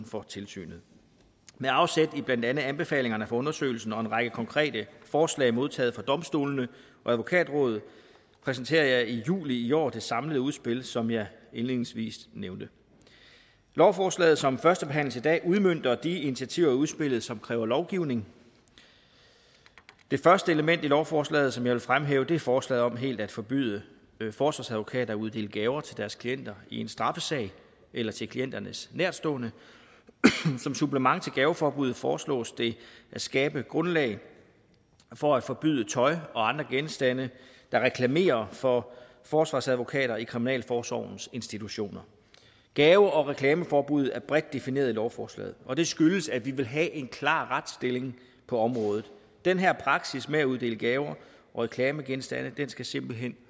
for tilsynet med afsæt i blandt andet anbefalingerne fra undersøgelsen og en lang række konkrete forslag modtaget fra domstolene og advokatrådet præsenterede jeg i juli i år det samlede udspil som jeg indledningsvis nævnte lovforslaget som førstebehandles i dag udmønter de initiativer i udspillet som kræver lovgivning det første element i lovforslaget som jeg vil fremhæve er forslaget om helt at forbyde forsvarsadvokater at uddele gaver til deres klienter i en straffesag eller til klienternes nærtstående som supplement til gaveforbuddet foreslås det at skabe grundlag for at forbyde tøj og andre genstande der reklamerer for forsvarsadvokater i kriminalforsorgens institutioner gave og reklameforbuddet er bredt defineret i lovforslaget og det skyldes at vi vil have en klar retsstilling på området den her praksis med at uddele gaver og reklamegenstande skal simpelt hen